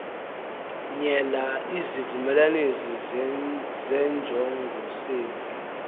nyelwa izivumelanisi zenjongosenzi